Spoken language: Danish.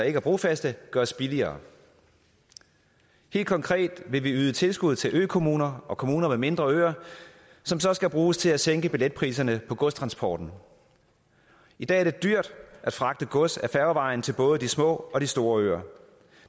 ikke er brofaste gøres billigere helt konkret vil vi yde tilskud til økommuner og kommuner med mindre øer som så skal bruges til at sænke billetpriserne på godstransporten i dag er det dyrt at fragte gods ad færgevejen til både de små og de store øer